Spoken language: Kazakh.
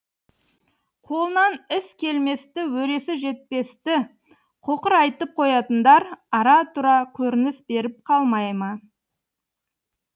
қолынан іс келместі өресі жетпесті қоқырайтып қоятындар ара тұра көрініс беріп қалмай ма